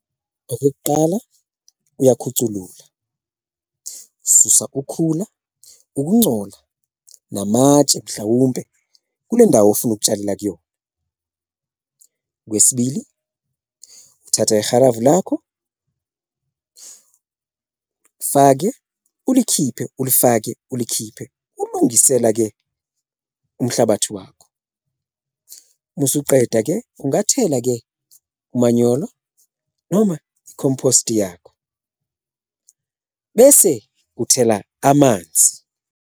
Okokuqala, uyakhuthulula, ususa ukhula, ukuncola, namatshe mhlawumpe kule ndawo ofuna ukutshalela kuyona. Okwesibili, uthatha ihalavu lakho fake ulikhiphile, ulifake ulikhiphile ulungisela-ke umhlabathi wakho, uma usuqeda-ke ungathela-ke umanyolo noma i-compost yakho bese uthela amanzi.